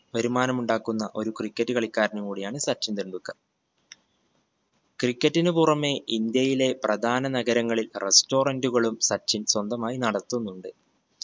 വരുമാനമുണ്ടാക്കുന്ന ഒരു cricket കളിക്കാരനും കൂടിയാണ് സച്ചിൻ ടെണ്ടുൽക്കർ. cricket നു പുറമെ ഇന്ത്യയിലെ പ്രധാന നഗരങ്ങളിൽ restaurant കളും സച്ചിൻ സ്വന്തമായി നടത്തുന്നുണ്ട്.